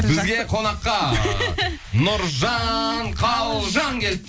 бізге қонаққа нұржан қалжан келді